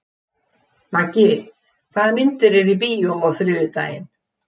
Maggi, hvaða myndir eru í bíó á þriðjudaginn?